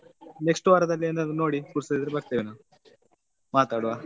Next ವಾರದಲ್ಲಿ ಏನಾದ್ರೂ ನೋಡಿ ಪುರ್ಸೋತಿದ್ರೆ ಬರ್ತೇವೆ ನಾವು ಮಾತಾಡುವಾ.